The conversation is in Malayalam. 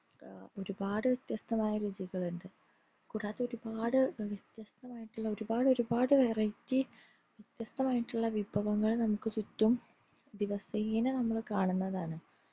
ഏർ ഒരുപാട് വ്യത്യസ്തമായാ രുചികളുണ്ട് കൂടാതെ ഒരുപാട് വ്യത്യസ്തമായിട്ടുള്ള ഒരുപാട്‌ ഒരുപാട് variety വ്യത്യസ്തമായിട്ടുള്ള വിഭവങ്ങൾ നമുക് ചുറ്റും ദിവസേന നമ്മള് കാണുന്നതാണ്